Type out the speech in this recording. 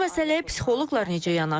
Bəs bu məsələyə psixoloqlar necə yanaşır?